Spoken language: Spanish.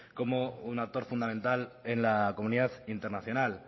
como un actor fundamental en la comunidad internacional